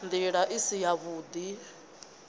nd ila i si yavhud